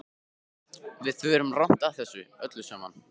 Við förum rangt að þessu öllu saman.